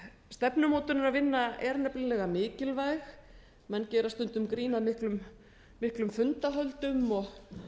stefnumótunarvinna er nefnilega mikilvæg menn gera stundum grín að miklum fundahöldum og